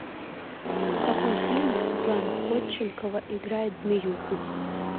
в каком фильме светлана ходченкова играет змеюку